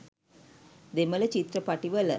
දෙමල චිත්‍රපටිවල.